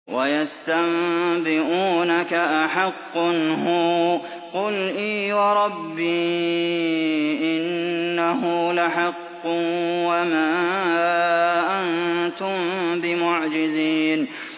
۞ وَيَسْتَنبِئُونَكَ أَحَقٌّ هُوَ ۖ قُلْ إِي وَرَبِّي إِنَّهُ لَحَقٌّ ۖ وَمَا أَنتُم بِمُعْجِزِينَ